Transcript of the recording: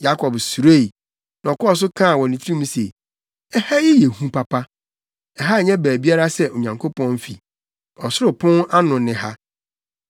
Yakob suroe, na ɔkɔɔ so kaa wɔ ne tirim se, “Ɛha yɛ hu papa. Ɛha nyɛ baabiara sɛ Onyankopɔn fi. Ɔsoro pon ano ne ha.”